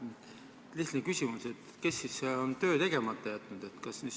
Lihtne küsimus: kes siis on töö tegemata jätnud?